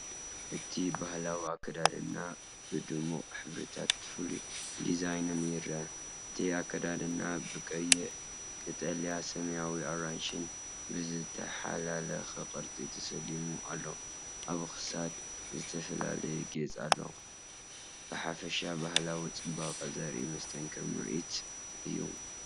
እቲ ባህላዊ ኣከዳድና ብድሙቕ ሕብርታትን ፍሉይ ዲዛይንን ይረአ። እቲ ኣከዳድና ብቐይሕ፡ ቀጠልያ፡ ሰማያውን ኣራንሺን ብዝተሓላለኸ ቅርጽታት ተሰሊሙ ኣሎ። ኣብ ክሳድ ዝተፈላለየ ጌጽ ኣሎ። ብሓፈሻ ባህላዊ ጽባቐ ዘርኢ መስተንክር ምርኢት እዩ።